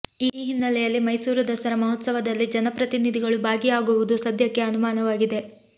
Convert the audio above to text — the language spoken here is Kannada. ಈ ಹಿನ್ನೆಲೆಯಲ್ಲಿ ಮೈಸೂರು ದಸರಾ ಮಹೋತ್ಸವದಲ್ಲಿ ಜನಪ್ರತಿನಿಧಿಗಳು ಭಾಗಿಯಾಗುವುದು ಸದ್ಯಕ್ಕೆ ಅನುಮಾನವಾಗಿದೆ